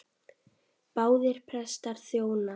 Báðir prestar þjóna.